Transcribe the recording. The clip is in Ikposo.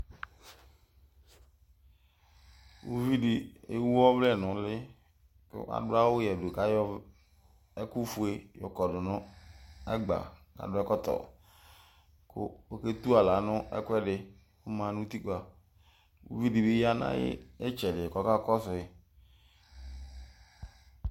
Ʋluviɖi ewu ɔvlɛ nʋ ʋli k'aɖʋ awu yeɖʋ k'ayɔɛkʋfue yɔkɔɖʋ nʋ ɛgba k'ɖʋ ɛkɔtɔ kʋ otu aɣla n'ɛkʋɛɖi ɔma nʋ utikpaƲviɖibi yaa nʋ itsɛɖi k'ɔkakɔsui